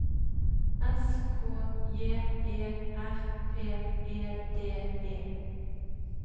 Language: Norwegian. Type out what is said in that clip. S K J E R P E D E